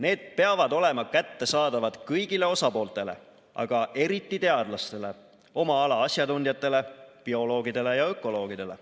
Need peavad olema kättesaadavad kõigile osapooltele, aga eriti teadlastele, oma ala asjatundjatele, bioloogidele ja ökoloogidele.